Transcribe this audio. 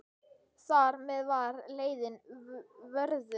Þar með var leiðin vörðuð.